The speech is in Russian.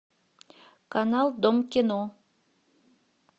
канал дом кино